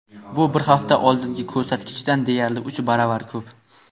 bu bir hafta oldingi ko‘rsatkichdan deyarli uch baravar ko‘p.